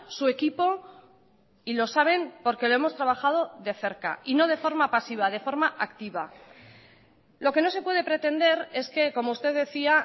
su equipo y lo saben porque lo hemos trabajado de cerca y no de forma pasiva de forma activa lo que no se puede pretender es que como usted decía